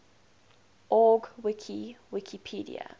org wiki wikipedia